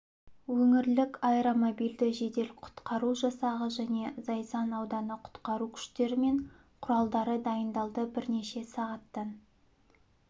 өңірлік аэромобильді жедел-құтқару жасағы және зайсан ауданы құтқару күштері мен құралдары дайындалды бірнеше сағаттан